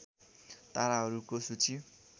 ताराहरूको सूची